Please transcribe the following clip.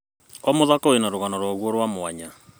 O mũthako wĩna rũgano rwaguo rwa mwanya.